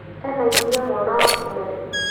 Ena ihũrĩa mwana wa kerĩ